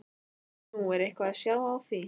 Nú, er eitthvað að sjá á því?